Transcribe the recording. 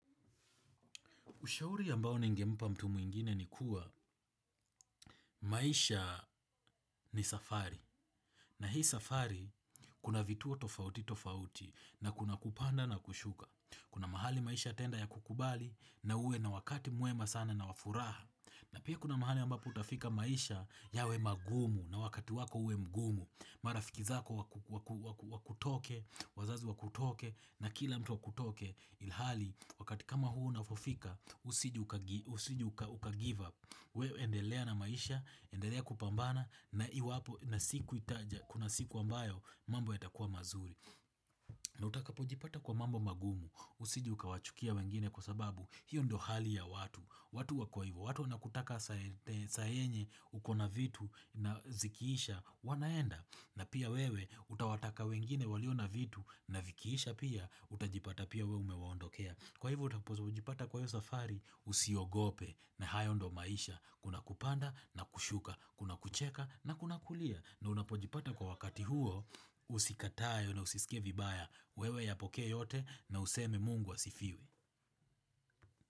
Ushauri ambao ningempa mtu mwingine ni kuwa maisha ni safari. Na hii safari, kuna vituo tofauti tofauti na kuna kupanda na kushuka. Kuna mahali maisha yataenda yakukubali na uwe na wakati mwema sana na wafuraha. Na pia kuna mahali ambapo utafika maisha yawe magumu na wakati wako uwe mgumu. Marafiki zako wakutoke, wazazi wakutoke na kila mtu akutoke ilhali. Wakati kama huo unavofika, usije ukagive up, we endelea na maisha, endelea kupambana, na iwapo, na siku itaja, kuna siku ambayo, mambo yatakua mazuri. Na utakapojipata kwa mambo magumu, usije ukawachukia wengine kwa sababu, hiyo ndo hali ya watu. Watu wako hivo, watu wanakutaka saa yenye uko na vitu na zikiisha, wanaenda. Na pia wewe, utawataka wengine waliona vitu na vikiisha pia, utajipata pia wewe umewaondokea. Kwa hivo utapojipata kwa hiyo safari, usiogope na hayo ndo maisha, kuna kupanda na kushuka, kuna kucheka na kuna kulia. Na unapojipata kwa wakati huo, usikatae na usisike vibaya, wewe yapokee yote na useme Mungu asifiwe.